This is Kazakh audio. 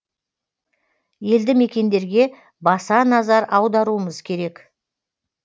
елді мекендерге баса назар аударуымыз керек